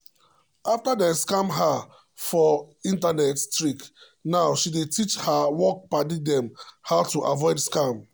after dem scam her for internet trick now she dey teach her work padi dem how to avoid scam.